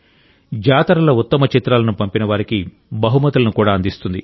జాతరాల ఉత్తమ చిత్రాలను పంపిన వారికి బహుమతులను కూడా అందిస్తుంది